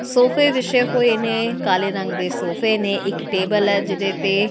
ਸੋਫੇ ਵਿਸ਼ੇ ਹੋਏ ਨੇ ਕਾਲੇ ਰੰਗ ਦੇ ਸੋਫੇ ਨੇ। ਇੱਕ ਟੇਬਲ ਹੈ ਜਿਹਦੇ ਤੇ --